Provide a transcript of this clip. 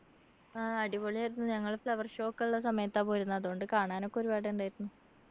ആഹ് അടിപൊളി ആയിരുന്നു ഞങ്ങള് flower show ഒക്കെ ഉള്ള സമയത്താ പോയിരുന്നെ അതുകൊണ്ട് കാണാനൊക്കെ ഒരുപാട് ഉണ്ടായിരുന്നു